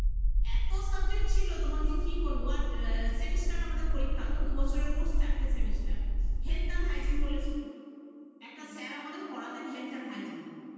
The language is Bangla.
এত subject ছিল তোমাকে কি বলব আর semester করে আমাদের পরীক্ষা হত দুবছরের চারটে semester, health & Hygiene বলে ছিল, একটা sir আমাদের পড়াতেন health & hygene